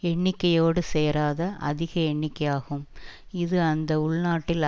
எண்ணிக்கையோடு சேராத அதிக எண்ணிக்கையாகும் இது அந்த உள்நாட்டில்